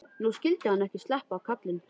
Nú skyldi hann ekki sleppa, karlinn.